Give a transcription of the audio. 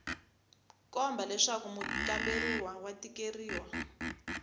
komba leswaku mukamberiwa wa tikeriwa